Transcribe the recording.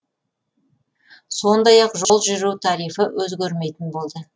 сондай ақ жол жүру тарифі өзгермейтін болды